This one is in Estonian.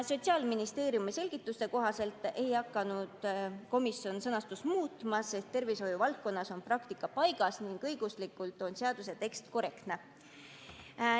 Sotsiaalministeeriumi selgituste kohaselt ei hakanud komisjon sõnastust muutma, sest tervishoiuvaldkonnas on praktika paigas ning õiguslikult on seaduse tekst korrektne.